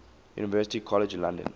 university college london